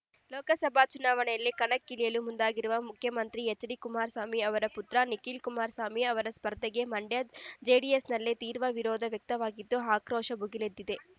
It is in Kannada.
ಲೋಕಸಭಾ ಚುನಾವಣೆಯಲ್ಲಿ ಕಣಕ್ಕಿಳಿಯಲು ಮುಂದಾಗಿರುವ ಮುಖ್ಯಮಂತ್ರಿ ಹೆಚ್ಡಿ ಕುಮಾರಸ್ವಾಮಿ ಅವರ ಪುತ್ರ ನಿಖಿಲ್ ಕುಮಾರಸ್ವಾಮಿ ಅವರ ಸ್ಪರ್ಧೆಗೆ ಮಂಡ್ಯ ಜೆಡಿಎಸ್‌ನಲ್ಲೇ ತೀವ್ರ ವಿರೋಧ ವ್ಯಕ್ತವಾಗಿದ್ದು ಆಕ್ರೋಶ ಭುಗಿಲೆದ್ದಿದೆ